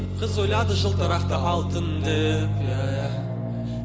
қыз ойлады жылтырақты алтын деп иә иә